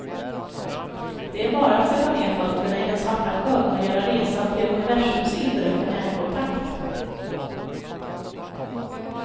Det är bara att sätta ner fötterna i den svarta sjön och göra resan till universums inre för närkontakt.